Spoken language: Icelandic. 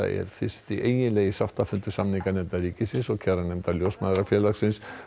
er fyrsti eiginlegi sáttafundur samninganefndar ríkisins og kjaranefndar Ljósmæðrafélagsins